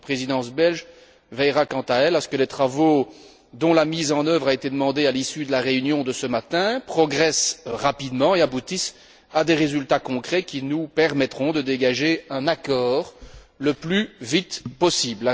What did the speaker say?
La Présidence belge veillera quant à elle à ce que les travaux, dont la mise en œuvre a été demandée à l'issue de la réunion de ce matin, progressent rapidement et aboutissent à des résultats concrets qui nous permettront de dégager un accord le plus vite possible.